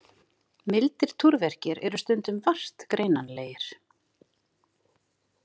Mildir túrverkir eru stundum vart greinanlegir.